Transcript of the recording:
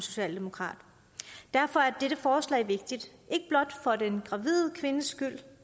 socialdemokrat derfor er dette forslag vigtigt ikke blot for den gravide kvindes skyld